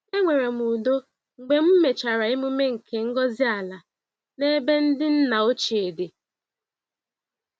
Enwere m udo mgbe m mechara emume nke ngọzi-ala n'ebe ndị nna ochie dị.